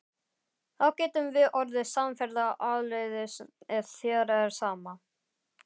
Þá getum við orðið samferða áleiðis ef þér er sama.